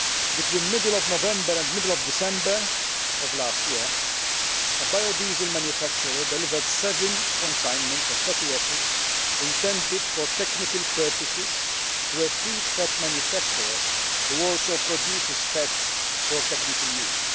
Between the middle of November and middle of December of last year, a biodiesel manufacturer delivered seven consignments of fatty acids intended for technical purposes to a feed fat manufacturer who also produces fats for technical use.